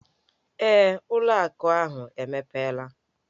Ee, ụlọ akụ ahụ emepela.